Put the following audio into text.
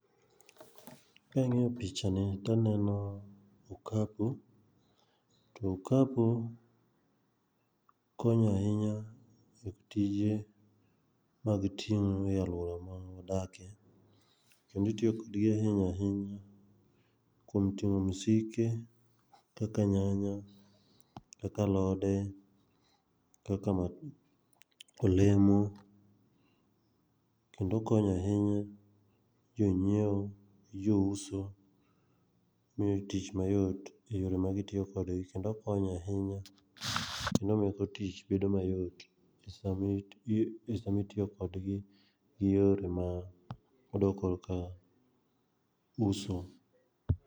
Kang'iyo pichani, taneno okapu, to okapu konyo ahinya e tije mag ting'o e alwora ma adakie, kendo itiyo kodgi ahinya ahinya kuom ting'o msike kaka nyanya, kaka alode, kaka olemo, kendo okonyo ahinya jonyiewo gi jouso, miyogi tich mayot e yore magitiyo kode kendo okonyo ahinya kendo omiyo tich bedo mayot, samitiyo kodgi gi yore modok korka uso.